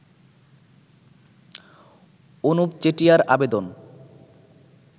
অনুপ চেটিয়ার আবেদন